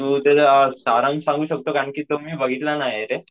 तू त्याचा सारांश सांगू शकतो का, कारण मी तो बघितला नाहीये रे.